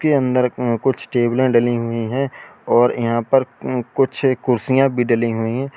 अंदर उं कुछ टेबलें डली हुई हैं और यहां पर उं कुछ एक कुर्सियां भी डली हुई हैं।